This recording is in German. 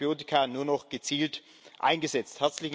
So werden Antibiotika nur noch gezielt eingesetzt.